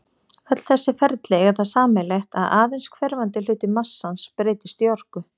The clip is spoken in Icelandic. Öll þessi ferli eiga það sameiginlegt að aðeins hverfandi hluti massans breytist í orku.